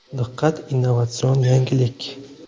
Diqqat innovatsion yangilik!!!